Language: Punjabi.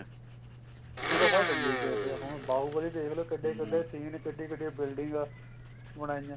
ਹੁੰਦਾ ਸਾਰਾ duplicate ਹੈ ਹੁਣ ਬਾਹੁਬਲੀ ਦੇਖਲੋ ਕਿੱਡੇ scene ਕਿੱਡੇ ਕਿੱਡੇ building ਬਣਾਈਆਂ